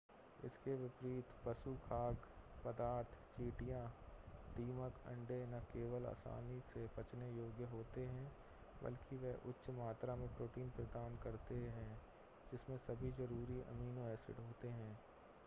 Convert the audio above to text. इसके विपरीत पशु खाद्य पदार्थ चींटियाँ दीमक अंडे न केवल आसानी से पचने योग्य होते हैं बल्कि वे उच्च मात्रा में प्रोटीन प्रदान करते हैं जिसमें सभी ज़रूरी अमीनो एसिड होते हैं